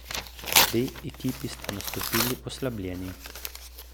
Obe ekipi sta nastopili oslabljeni.